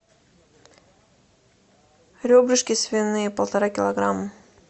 ребрышки свиные полтора килограмма